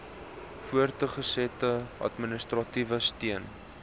voortgesette administratiewe steun